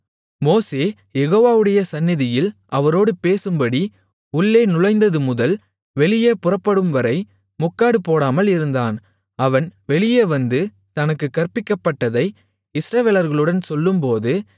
மோசே யெகோவாவுடைய சந்நிதியில் அவரோடு பேசும்படி உள்ளே நுழைந்ததுமுதல் வெளியே புறப்படும்வரை முக்காடு போடாமல் இருந்தான் அவன் வெளியே வந்து தனக்குக் கற்பிக்கப்பட்டதை இஸ்ரவேலர்களுடன் சொல்லும்போது